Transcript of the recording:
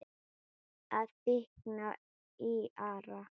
Það þykknar í Ara